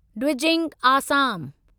Dwijing Assam